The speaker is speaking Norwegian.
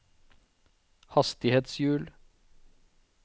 hastighetshjul